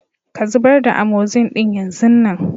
Ka zubar da " Amoxin " din yan zun nan.